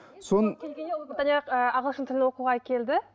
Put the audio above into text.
соны ағылшын тілін оқуға келді